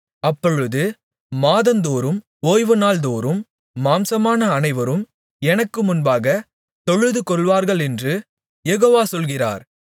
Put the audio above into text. அப்பொழுது மாதந்தோறும் ஓய்வுநாள்தோறும் மாம்சமான அனைவரும் எனக்கு முன்பாகத் தொழுதுகொள்வார்களென்று யெகோவா சொல்கிறார்